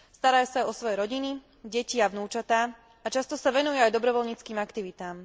Starajú sa o svoje rodiny, deti a vnúčatá a často sa venujú aj dobrovoľníckym aktivitám.